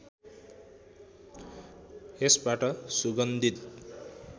यसबाट सुगन्धित